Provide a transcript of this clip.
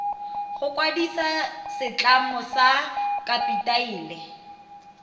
go kwadisa setlamo sa kapitale